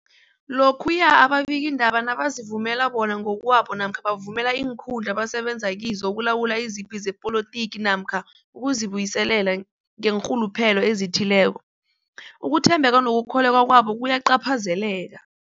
Lokhuya ababikiindaba nabazivumela bona ngokwabo namkha bavumele iinkundla abasebenza kizo ukulwa izipi zepolitiki namkha ukuzi buyiselela ngeenrhuluphelo ezithileko, ukuthembeka nokukholweka kwabo kuyacaphazeleka.